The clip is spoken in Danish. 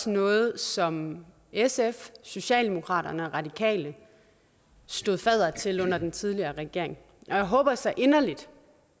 noget som sf socialdemokratiet radikale stod fadder til under den tidligere regering og jeg håber så inderligt